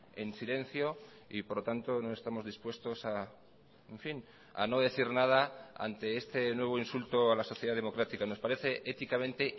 en silencio y por lo tanto no estamos dispuestos a en fin a no decir nada ante este nuevo insulto a la sociedad democrática nos parece éticamente